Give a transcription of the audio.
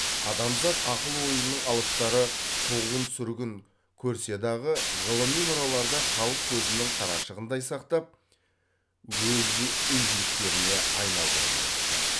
адамзат ақыл ойының алыптары құғын сүргін көрседағы ғылыми мұраларда халық көзінің қарашығындай сақтап өз игіліктеріне айналдырып отырды